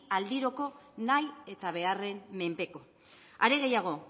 aldirako nahi eta beharren menpeko are gehiago